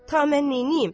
Ta mən neyniyim?